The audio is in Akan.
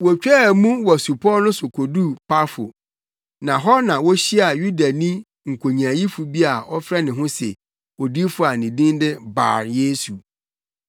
Wotwaa mu wɔ supɔw no so koduu Pafo, na hɔ na wohyiaa Yudani nkonyaayifo bi a ɔfrɛ ne ho se odiyifo a na ne din de Bar-Yesu.